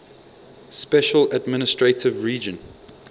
special administrative region